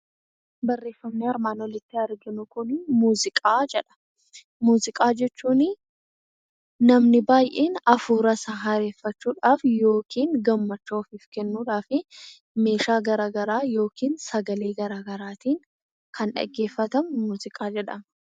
Barreeffamni armaan olitti arginu, muuziqaa jedha. Muuziqaa jechuun namni baayyeen hafuura isaa haareffachuudhaaf yookiin gammachuu ofiif kennuudhaaf meeshaa garaagaraa yookiin sagalee garaagaraatiin kan dhaggeeffatamu muuziqaa jedhama.